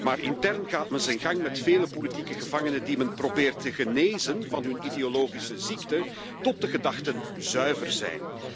Maar intern gaat men zijn gang met vele politieke gevangenen die men probeert te genezen van hun ideologische ziekte tot de gedachten zuiver zijn.